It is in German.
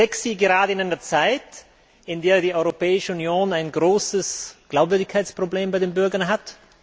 Sexy gerade in einer Zeit, in der die Europäische Union ein großes Glaubwürdigkeitsproblem bei den Bürgern hat.